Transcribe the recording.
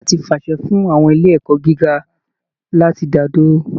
Ìjọba ti fàṣẹ fún àwọn ilé ẹ̀kọ́ gíga láti dá dúró